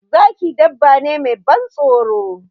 Zaki dabba ne mai ban tsoro.